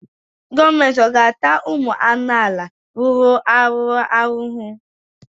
Gọọmenti ọ̀ ga-ata ụmụ amaala rụrụ arụ ahụhụ?